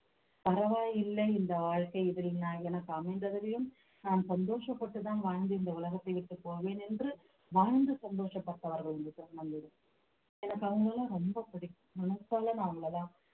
பரவாயில்லை இந்த வாழ்க்கை இப்படி நான் எனக்கு அமைந்ததிலும் நான் சந்தோஷப்பட்டுதான் வாழ்ந்து இந்த உலகத்தை விட்டுப் போவேன் என்று வாழ்ந்து சந்தோஷப்பட்டவர்கள் இந்த திருநங்கைகள் எனக்கு அவங்களலாம் ரொம்ப பிடிக்கும் மனசால நான் அவங்களதான்